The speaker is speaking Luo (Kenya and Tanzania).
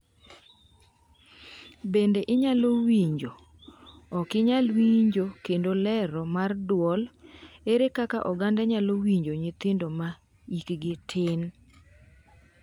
Bende inyalo winjo: Ok inyal winjo kendo Lero mar dwol, Ere kaka oganda nyalo winjo nyithindo ma hikgi tin?